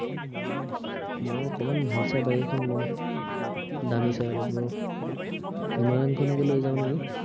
মই অকনমান ভাল চাই bike এখন লম দামী চাই অলপ ৰহ হিমালয়ান খনকে লৈ যাম নেকি